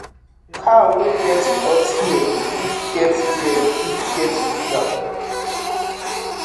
cow wey get hot ear fit get ear fit get fever